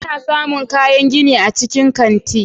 Ana samun kayan gini a cikin kanti.